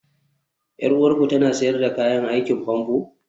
Yar uwarku tana sayar da kayan aikin famfo?